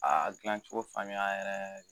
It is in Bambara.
A dilancogo faamuya yɛrɛ